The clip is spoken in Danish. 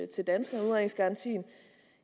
til danskerne udredningsgarantien